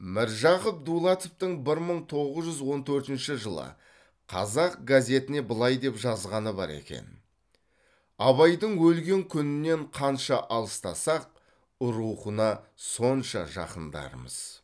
міржақып дулатовтың бір мың тоғыз жүз он төртінші жылы қазақ газетіне былай деп жазғаны бар екен абайдың өлген күнінен қанша алыстасақ рухына сонша жақындармыз